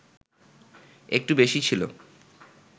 একটু বেশি ছিল